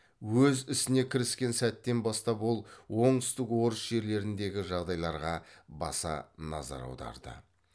өз ісіне кіріскен сәттен бастап ол оңтүстік орыс жерлеріндегі жағдайларға баса назар аударды